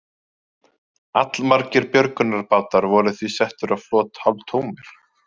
Allmargir björgunarbátar voru því settir á flot hálftómir.